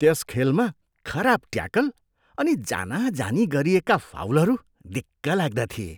त्यस खेलमा खराब ट्याकल अनि जानाजानी गरिएका फाउलहरू दिक्कलाग्दा थिए।